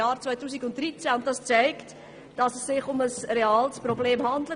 Das zeigt, dass es sich um ein reales Problem handelt.